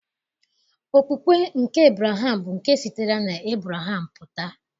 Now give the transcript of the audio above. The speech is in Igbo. Okpukpe nke Ebraham bụ nke sitere n'Ebreham pụta.